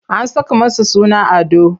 An saka masa suna Ado.